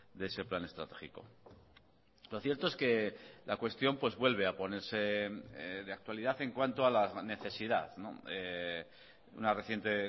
de ese plan estratégico lo cierto es que la cuestión pues vuelve a ponerse de actualidad en cuanto a la necesidad una reciente